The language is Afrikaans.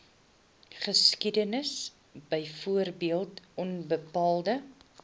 geskiedenis byvoorbeeld onbetaalde